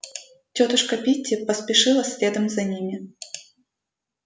тётушка питти поспешила следом за ними